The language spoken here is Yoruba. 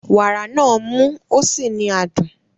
Wàrà náà mú ó sì ní adùn.